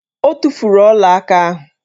O tufuru ọlaaka ahụ